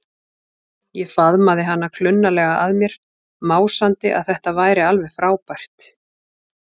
Ég faðmaði hana klunnalega að mér, másandi að þetta væri alveg frábært.